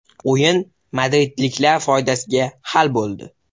O‘yin madridliklar foydasiga hal bo‘ldi.